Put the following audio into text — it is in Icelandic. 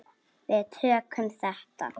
Við tökum þetta.